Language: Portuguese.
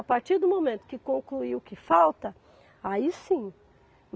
A partir do momento que concluir o que falta, aí sim.